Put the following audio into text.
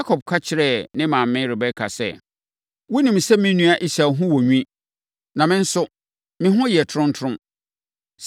Yakob ka kyerɛɛ ne maame Rebeka sɛ, “Wonim sɛ me nua Esau ho wɔ nwi, na me nso, me ho yɛ toromtorom.